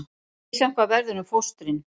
Misjafnt hvað verður um fóstrin